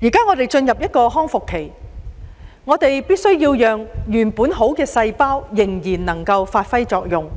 現在我們已進入康復期，必須讓原有的好細胞繼續發揮作用，